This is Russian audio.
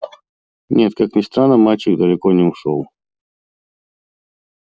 нет как ни странно мальчик далеко не ушёл